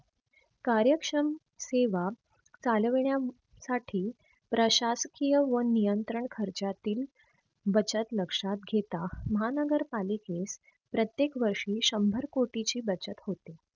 कार्य क्षम सेवा चालवण्या साठी प्रशासकीय व नियंत्रण खर्चातील बचत लक्षात घेता महानगर पालिकेस प्रत्येक वर्षी शंभर कोटीची बचत होते.